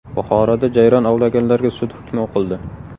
Buxoroda jayron ovlaganlarga sud hukmi o‘qildi.